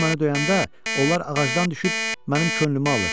Balu mənə döyəndə, onlar ağacdan düşüb mənim könlümü alır.